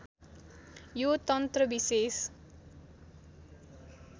यो तन्त्र विशेष